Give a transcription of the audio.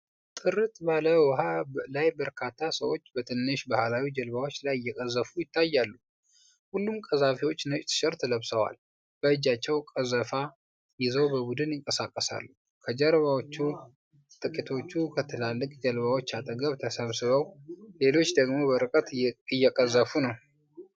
ጥርት ባለ ውሃ ላይ በርካታ ሰዎች በትንሽ ባህላዊ ጀልባዎች ላይ እየቀዘፉ ይታያሉ። ሁሉም ቀዛፊዎች ነጭ ቲሸርት ለብሰዋል፤ በእጃቸውም ቀዘፋ ይዘው በቡድን ይንቀሳቀሳሉ። ከጀልባዎቹ ጥቂቶቹ ከትላልቅ ጀልባዎች አጠገብ ተሰብስበው፣ ሌሎች ደግሞ በርቀት እየቀዘፉ ነው።